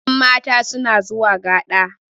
yanmata suna zuwa gada